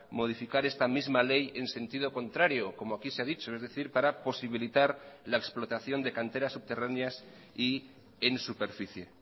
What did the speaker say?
modificar esta misma ley en sentido contrario como aquí se ha dicho es decir para posibilitar la explotación de canteras subterráneas y en superficie